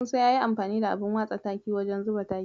Musa yayi amfani da abun watsa taki wajen zuba takin.